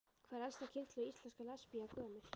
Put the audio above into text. Hvað er elsta kynslóð íslenskra lesbía gömul?